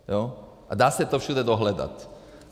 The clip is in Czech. A dá se to všude dohledat.